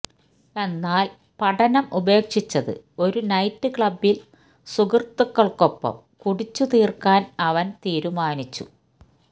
എന്നാല് പഠനം ഉപേക്ഷിച്ചത് ഒരു നൈറ്റ് ക്ലബ്ബില് സുഹൃത്തുക്കള്ക്കൊപ്പം കുടിച്ചുതീര്ക്കാന് അവന് തീരുമാനിച്ചു